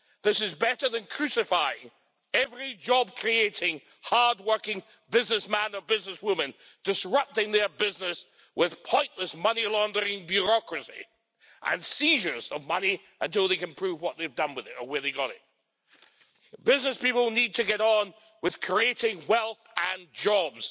This is better than crucifying every job creating, hard working businessman or businesswoman, disrupting their business with pointless money laundering bureaucracy and seizures of money until they can prove what they've done with it or where they got it. Business people need to get on with creating wealth and jobs.